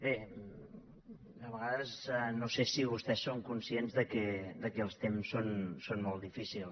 bé de vegades no sé si vostès són conscients que els temps són molt difícils